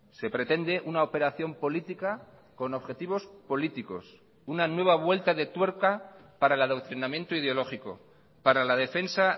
se pretende una operación política con objetivos políticos una nueva vuelta de tuerca para el adoctrinamiento ideológico para la defensa